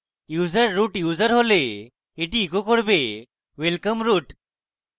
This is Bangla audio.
user root user হলে এটি echo করবেwelcome root!